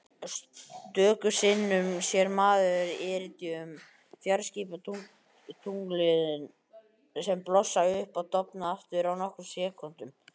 Stöku sinnum sér maður Iridíum-fjarskiptatunglin sem blossa upp og dofna aftur á nokkrum sekúndum.